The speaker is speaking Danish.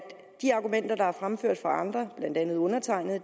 de argumenter der fremføres af andre blandt andet undertegnede